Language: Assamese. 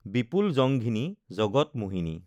বিপুল জংঘিনী, জগত মোহিনী,